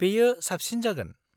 बेयो साबसिन जागोन।